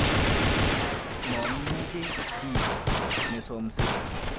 Momeche chi nesomsei.